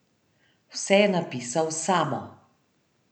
Vse je napisal Samo.